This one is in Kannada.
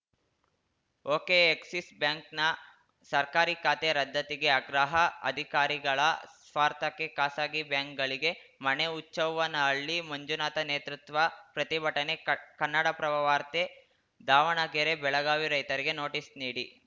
ಒಕೆ ಎಕ್ಸಿಸ್‌ ಬ್ಯಾಂಕ್‌ನ ಸರ್ಕಾರಿ ಖಾತೆ ರದ್ಧತಿಗೆ ಆಗ್ರಹ ಅಧಿಕಾರಿಗಳ ಸ್ವಾರ್ಥಕ್ಕೆ ಖಾಸಗಿ ಬ್ಯಾಂಕ್‌ಗಳಿಗೆ ಮಣೆ ಹುಚ್ಚವ್ವನಹಳ್ಳಿ ಮಂಜುನಾಥ ನೇತೃತ್ವ ಪ್ರತಿಭಟನೆ ಕನ್ನಡಪ್ರಭ ವಾರ್ತೆ ದಾವಣಗೆರೆ ಬೆಳಗಾವಿ ರೈತರಿಗೆ ನೋಟಿಸ್‌ ನೀಡಿ